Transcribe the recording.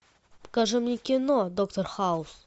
покажи мне кино доктор хаус